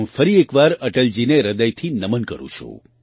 હું ફરી એક વાર અટલજીને હૃદયથી નમન કરું છું